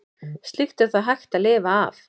Slíkt er þó hægt að lifa af.